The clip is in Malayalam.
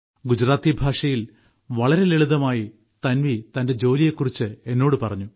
ഗുജറാത്തി ഭാഷയിൽ വളരെ ലളിതമായി തൻവി തന്റെ ജോലിയെക്കുറിച്ച് എന്നോട് പറഞ്ഞു